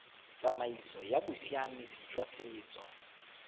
tsamaiso ya bosiamisi jwa setso